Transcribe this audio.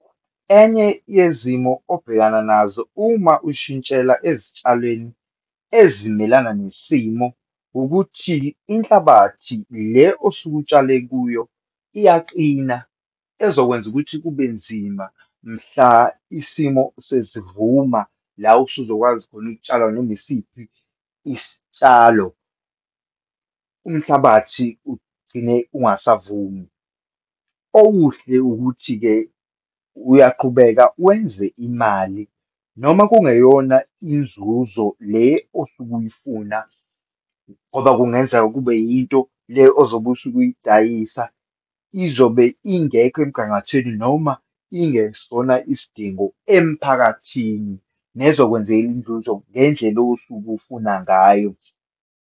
Enye yezimo obhekana nazo uma ushintshela ezitshalweni ezimelana nesimo, ukuthi inhlabathi le osuke utshale kuyo iyaqina ezokwenza ukuthi kubenzima mhla isimo sesivuma la usuzokwazi khona ukutshala noma isiphi isitshalo, umhlabathi ugcine ungasavumi. Okuhle ukuthi-ke, uyaqhubeka wenze imali noma kungeyona inzuzo le osuke uyifuna, ngoba kungenzeka kube yinto le ozobe usuke uyidayisa izobe ingekho emgangathweni noma ingesona isidingo emphakathini, nezokwenzela inzuzo ngendlela osuke ufuna ngayo.